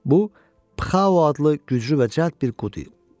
Bu pxao adlı güclü və cəld bir qurd idi.